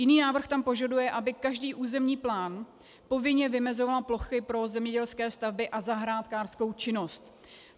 Jiný návrh tam požaduje, aby každý územní plán povinně vymezoval plochy pro zemědělské stavby a zahrádkářskou činnost.